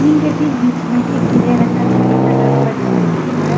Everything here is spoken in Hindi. इनके ठीक बीच में एक पीले रंग का छतरी लगा हुआ दिखाई दे रहा है।